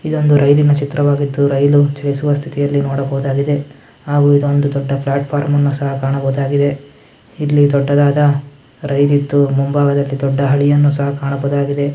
ಇದೊಂದು ರೈಲ್ನ ಚಿತ್ರವಾಗಿದ್ದು ರೈಲು ಚಲಿಸುವ ಸ್ಥಿತಿಯಲ್ಲಿ ನೋಡಬಹುದಾಗಿದೆ ಹಾಗು ಇದು ಒಂದು ದೊಡ್ಡ ಪ್ಲಾಟ್ಫಾರ್ಮ್ ನ್ನು ಸಹ ಕಾಣಬಹುದಾಗಿದೆ ಇಲ್ಲಿ ದೊಡ್ಡದಾದ ರೈಲ್ ಇದ್ದು ಮುಂಬಾಗದಲ್ಲಿ ದೊಡ್ಡ ಅಲಿಯನ್ನು ಸಹ ಕಾಣಬಹುದಾಗಿದೆ.